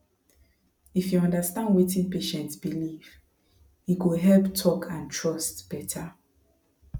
if you understand wetin patient believe e go help talk and trust better